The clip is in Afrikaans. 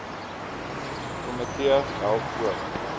komitee help ook